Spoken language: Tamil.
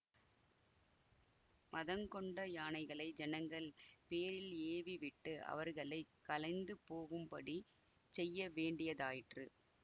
மதங் கொண்ட யானைகளை ஜனங்கள் பேரில் ஏவி விட்டு அவர்களை கலைந்து போகும்படி செய்ய வேண்டியதாயிற்று